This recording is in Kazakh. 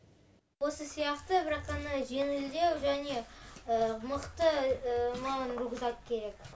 осы сияқты бірақ ана жеңілдеу және мықты маған рюкзак керек